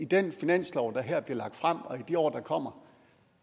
den finanslov der her bliver lagt frem og i de år der kommer